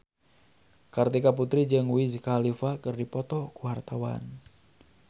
Kartika Putri jeung Wiz Khalifa keur dipoto ku wartawan